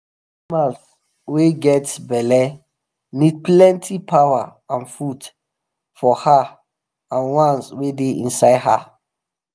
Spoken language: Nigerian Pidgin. animal wa get belle need plenty power and food for her and ones wa da inside her